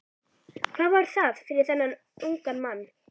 Hvað var það fyrir þennan unga mann?